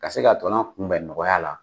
Ka se katɔnɔ kunbɛn nɔgɔya la.